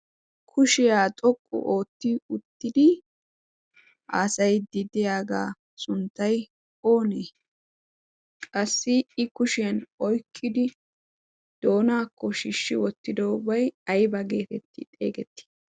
kushiyaa xoqqu ootti uttidi aasay diddiyaagaa sunttay oonee? qassi i kushiyan oykkidi doonaakko shishshi wottidobai aiba geetetti xeegettii?